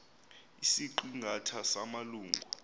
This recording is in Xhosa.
isiqi ngatha samalungu